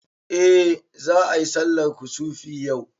Eh za ayi sallar kusufi yau